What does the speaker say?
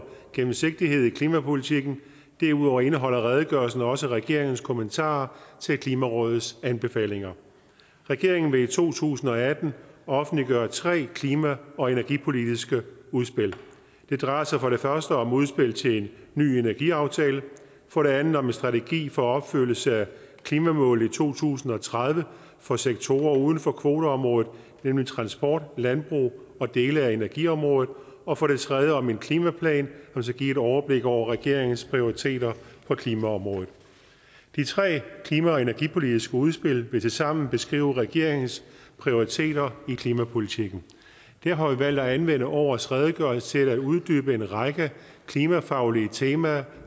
gennemsigtighed i klimapolitikken derudover indeholder redegørelsen også regeringens kommentarer til klimarådets anbefalinger regeringen vil i to tusind og atten offentliggøre tre klima og energipolitiske udspil det drejer sig for det første om et udspil til en ny energiaftale for det andet om en strategi for opfyldelse af klimamålet i to tusind og tredive for sektorer uden for kvoteområdet nemlig transport landbrug og dele af energiområdet og for det tredje om en klimaplan som skal give et overblik over regeringens prioriteter på klimaområdet de tre klima og energipolitiske udspil vil tilsammen beskrive regeringens prioriteter i klimapolitikken vi har valgt at anvende årets redegørelse til at uddybe en række klimafaglige temaer